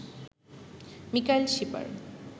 Mikail Shipar